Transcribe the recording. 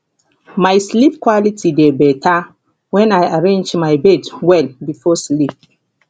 my sleep quality dey better when i arrange my bed well before sleep